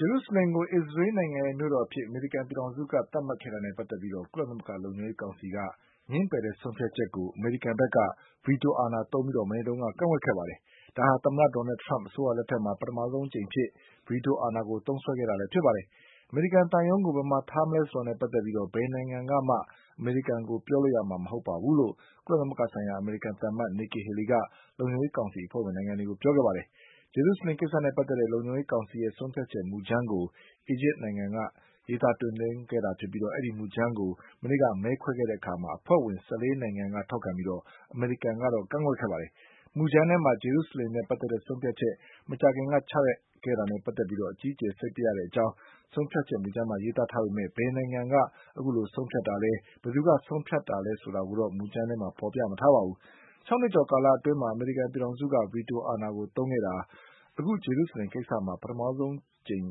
ဂျေရုဆလင်ကို အစ္စရေးနိုင်ငံရဲ့မြို့တော်အဖြစ်အမေရိကန်ပြည်ထောင်စုက သတ်မှတ်ခဲ့တာနဲ့ပတ်သက်ပြီး ကုလသမဂ္ဂလုံ ခြုံရေးကောင်စီက ငြင်းပယ်တဲ့ဆုံးဖြတ်ချက်ကို အမေရိကန်ဘက်က ဗီတိုအာဏာသုံးပြီး မနေ့က ကန့်ကွက်ခဲ့ပါတယ်။ ဒါဟာ သမ္မတ Donald Trump အစိုးရလက်ထက်မှာ ပထမဆုံးအကြိမ်အဖြစ် ဗီတိုအာဏာကို သုံးစွဲခဲ့တာလည်းဖြစ်ပါတယ်။ အမေရိကန်သံရုံးကို ဘယ်မှာထားမလဲဆိုတာနဲ့ပတ်သက်ပြီး ဘယ်နိုင်ငံကမှ အမေရိကန်ကိုပြောလို့ရမှာ မဟုတ်ပါဘူးလို့ ကုလသမဂ္ဂဆိုင်ရာ အမေရိကန်သံအမတ် Nikki Haley က လုံခြုံရေးကောင်စီအဖွဲ့ဝင်နိုင်ငံတွေကိုပြောခဲ့ပါတယ်။ ဂျေရုဆလင်ကိစ္စနဲ့ပတ်သက်တဲ့ လုံခြုံရေးကောင်စီရဲ့ဆုံးဖြတ်ချက်မူကြမ်းကို အီဂျစ်နိုင်ငံက တင်သွင်းခဲ့တာဖြစ်ပြီး ဒီမူကြမ်း ကို မနေ့က မဲခွဲခဲ့တဲ့အခါ အဖွဲ့ဝင်၁၄နိုင်ငံက ထောက်ခံပြီး အမေရိကန်က ကန့်ကွက်ခဲ့ပါတယ်။ မူကြမ်းထဲမှာ ဂျေရုဆလင်နဲ့ ပတ်သက်တဲ့ဆုံးဖြတ်ချက် မကြာခင်ကချခဲ့တာနဲ့ပတ်သက်ပြီး အကြီးအကျယ် စိတ်ပျက်ရတဲ့အကြောင်း ဆုံးဖြတ်ချက်မူ ကြမ်းမှာ ရေးသားထားပေမဲ့ ဘယ်နိုင်ငံက အခုလိုဆုံးဖြတ်တာလဲ၊ ဘယ်သူကဆုံးဖြတ်တာလဲဆိုဆိုတာကိုတော့ မူကြမ်း ထဲမှာ မဖေါ်ပြထားပါဘူး။ ၆နှစ်ကျော်ကာလအတွင်းမှာ အမေရိကန်ပြည်ထောင်စုက ဗီတိုအာဏာကိုသုံးခဲ့တာ အခုဂျေရု ဆလင်ကိစ္စမှာ ပထမဆုံးအကြိမ်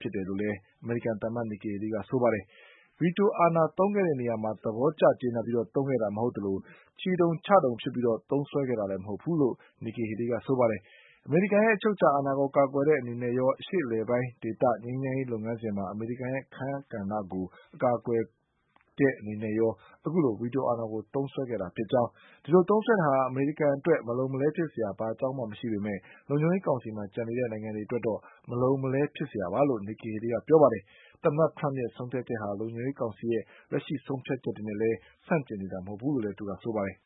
ပဲလို့လည်း အမေရိကန်သံအမတ် Nikki Haleyကပြောပါတယ်။ ဗီတိုအာဏာသုံးခဲ့နေရာ မှာ သဘောကျကျေနပ်ပြီးသုံးခဲ့တာမဟုတ်သလို ချီတုံချတုံဖြစ်ပြီးသုံးခဲ့တာလည်းမဟုတ်ဘူးလို့ Nikki Haleyကဆိုပါ တယ်။ အမေရိကန်ရဲ့အချုပ်အခြာအာဏာကိုကာကွယ်တဲ့အနေနဲ့ရော အရှေ့အလယ်ပိုင်းဒေသငြိမ်းချမ်းရေးလုပ်ငန်း စဉ်မှာ အမေရိကန်ရဲ့အခန်းကဏ္ဍကို အကာအကွယ်ပေးတဲ့နေနဲ့ရော အခုလိုဗီတိုအာဏာကိုသုံးစွဲခဲ့တာဖြစ်ကြောင်း၊ ဒီလိုသုံးစွဲခဲ့တာဟာ အမေရိကန်အတွက် မလုံမလဲဖြစ်စရာဘာမှအကြောင်းမရှိပေမဲ့ လုံခြုံရေးကောင်စီမှာကျန်နေတဲ့ နိုင်ငံတွေအတွက်တော့ မလုံမလဲဖြစ်စရာပါလို့ Nikki Haleyကပြောပါတယ်။ သမ္မတ Trump ရဲ့ဆုံးဖြတ်ချက်ဟာ လုံခြုံ ရေးကောင်စီရဲ့လက်ရှိဆုံးဖြတ်ချက်တွေနဲ့လည်း ဆန့်ကျင်နေတာမဟုတ်ဘူးလို့လည်းသူကဆိုပါတယ်